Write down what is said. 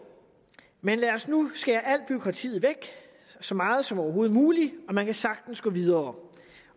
men lad os nu skære al bureaukratiet væk så meget som overhovedet muligt man kan sagtens gå videre